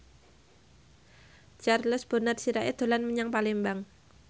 Charles Bonar Sirait dolan menyang Palembang